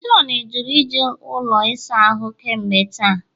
John jụrụ iji ụlọ ịsa ahụ kemgbe taa